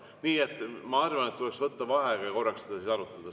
Nii et ma arvan, et tuleks võtta vaheaeg ja korraks seda siis arutada.